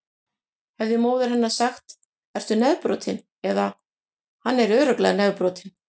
Hefði móðir hennar sagt: Ertu nefbrotinn? eða: Hann er örugglega nefbrotinn.